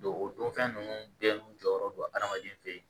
Don o don fɛn ninnu bɛɛ n'u jɔyɔrɔ don adamaden feyi